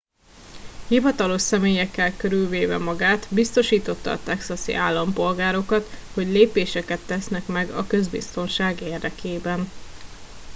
hivatalos személyekkel körülvéve magát biztosította a texasi állampolgárokat hogy lépéseket tesznek meg a közbiztonság érdekében